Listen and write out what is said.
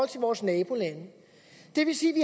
til vores nabolande det vil sige vi